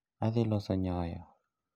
Adhi loso nyoyo